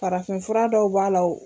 Farafinfura dɔw b'a la o